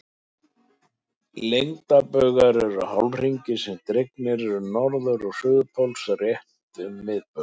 Lengdarbaugar eru hálfhringir sem dregnir eru á milli norður- og suðurpóls hornrétt á miðbaug.